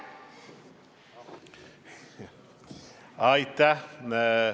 Aitäh!